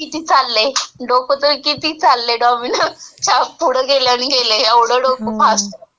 किती चाललंय. डोकं किती चाललंय म्हणजे डॉमिनोजच्या पुढं गेलंय नेलंय. एवढं डोकं फास्ट.